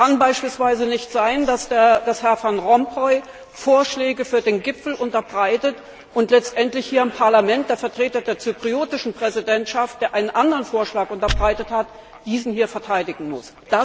Es kann beispielsweise nicht sein, dass Herr Van Rompuy Vorschläge für den Gipfel unterbreitet und letztendlich hier im Parlament der Vertreter der zypriotischen Präsidentschaft, der einen anderen Vorschlag unterbreitet hat, jenen hier verteidigen muss.